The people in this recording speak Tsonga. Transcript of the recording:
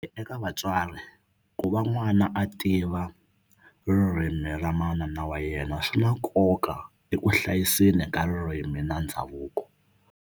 Eka vatswari ku va n'wana a tiva ririmi ra manana wa yena swi na nkoka eku hlayiseni ka ririmi na ndhavuko.